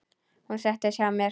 Hún settist hjá mér.